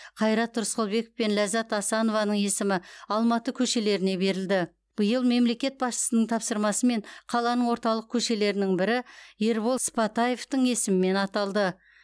қайрат рысқұлбеков пен ләззат асанованың есімі алматы көшелеріне берілді биыл мемлекет басшысының тапсырмасымен қаланың орталық көшелерінің бірі ербол сыпатаевтың есімімен аталды